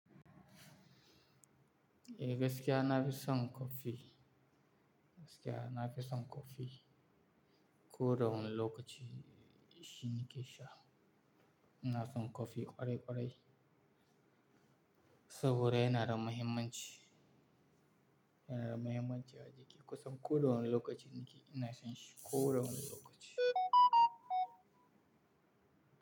Eh gaskiya nafi son kofi, gaskiya nafi son kofi. Ko da wani lokaci shi nake sha. Ina son kofi kwarai-kwarai saboda yana da mahimmanci, yana da mahimmanci a jiki. Kusan ko da wani lokaci nake, ina son shi ko da wani lokaci.